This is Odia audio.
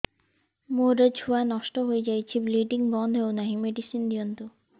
ମୋର ଛୁଆ ନଷ୍ଟ ହୋଇଯାଇଛି ବ୍ଲିଡ଼ିଙ୍ଗ ବନ୍ଦ ହଉନାହିଁ ମେଡିସିନ ଦିଅନ୍ତୁ